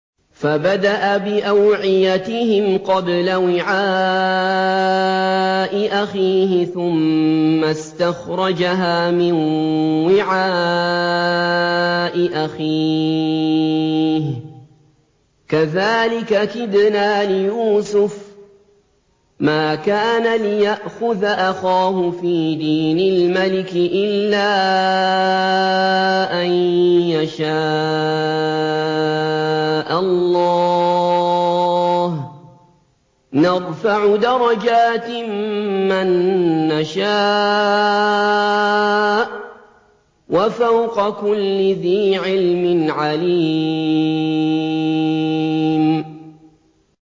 فَبَدَأَ بِأَوْعِيَتِهِمْ قَبْلَ وِعَاءِ أَخِيهِ ثُمَّ اسْتَخْرَجَهَا مِن وِعَاءِ أَخِيهِ ۚ كَذَٰلِكَ كِدْنَا لِيُوسُفَ ۖ مَا كَانَ لِيَأْخُذَ أَخَاهُ فِي دِينِ الْمَلِكِ إِلَّا أَن يَشَاءَ اللَّهُ ۚ نَرْفَعُ دَرَجَاتٍ مَّن نَّشَاءُ ۗ وَفَوْقَ كُلِّ ذِي عِلْمٍ عَلِيمٌ